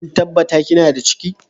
Kin tabatar kina da ciki?